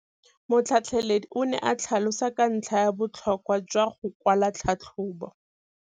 Motlhatlheledi o ne a tlhalosa ka ntlha ya botlhokwa jwa go kwala tlhatlhôbô.